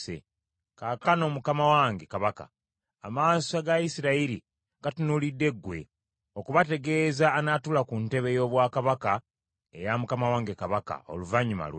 Kaakano mukama wange kabaka, amaaso ga Isirayiri gatunuulidde gwe, okubategeeza anaatuula ku ntebe y’obwakabaka eya mukama wange kabaka, oluvannyuma lwe.